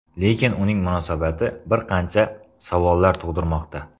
Lekin uning munosabati bir qancha savollar tug‘dirmoqda.